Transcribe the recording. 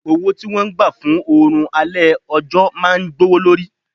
Owó tí wọ́n gbà fún oòrùn alẹ́ ọjọ́ máa gbówó lórí.